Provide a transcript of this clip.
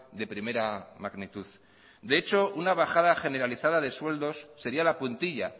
de primera magnitud de hecho una bajada generalizada de sueldos sería la puntilla